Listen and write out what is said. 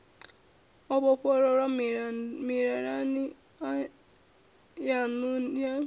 o vhofholowa mililani yannu ya